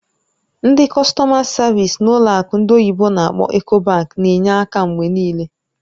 Ndị kọstọ̀ma savịs n'ụlọ akụ ndị oyibo n'akpọ "Ecobank" na-enye aka mgbe niile.